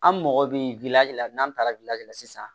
An mɔgɔ bi la n'an taara de la sisan